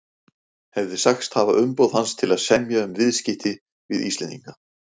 hefði sagst hafa umboð hans til að semja um viðskipti við Íslendinga.